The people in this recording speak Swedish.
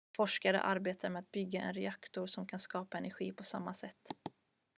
forskare arbetar med att bygga en reaktor som kan skapa energi på samma sätt